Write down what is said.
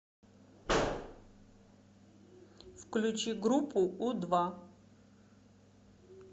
включи группу у два